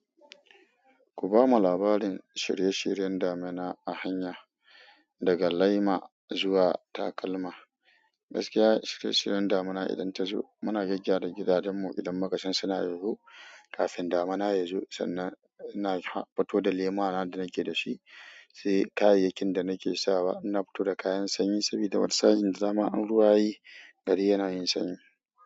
Ku ba mu labarin shirye-shiryen damina a hanya, daga laima zuwa takalma. Gaskiya shirye-shiryen damuna idan ta zo. Muna gyaggyara gidajenmu idan makasan suna yoyo kafin damuna ya zo sannan ina fito da lema na da nake da shi, sai kayayyakin da nake sawa. Na fito da kayan sanyi saboda wani sa'in zama an ruwa yi, gari yana yin sanyi.